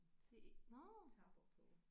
Til nåh